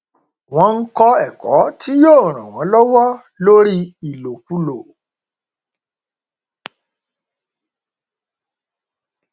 wọn ń kó ẹkọ tí yóò ran wọn lọwọ lórí ìlòkulò